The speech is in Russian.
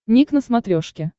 ник на смотрешке